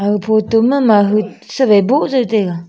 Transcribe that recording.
aga photo ma mahu sawaI buh jow taiga.